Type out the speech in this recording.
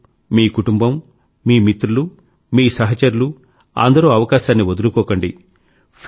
మీరు మీ కుటుంబం మీ మిత్రులు మీ సహచరులు అందరూ అవకాశాన్ని వదులుకోకండి